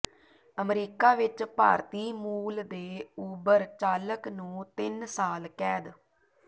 America ਵਿੱਚ ਭਾਰਤੀ ਮੂਲ ਦੇ ਊਬਰ ਚਾਲਕ ਨੂੰ ਤਿੰਨ ਸਾਲ ਕੈਦ